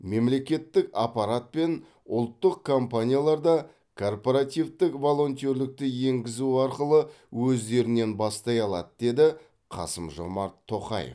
мемлекеттік аппарат пен ұлттық компаниялар да корпоративтік волонтерлікті енгізу арқылы өздерінен бастай алады деді қасым жомарт тоқаев